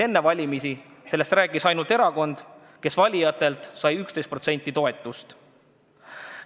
Enne valimisi rääkis sellest ainult üks erakond, kes sai valijatelt 11% toetust.